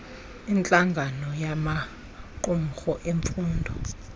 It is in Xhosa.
intlangano yamaqumrhu emfundo